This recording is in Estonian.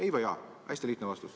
Ei või jaa, hästi lihtne vastus.